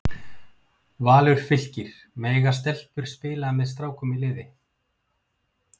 Valur- Fylkir- Mega stelpur spila með strákum í liði?